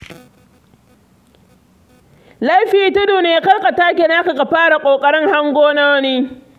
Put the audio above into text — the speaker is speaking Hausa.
Laifi tudu ne kar ka take naka ka fara ƙoƙarin hango na wani.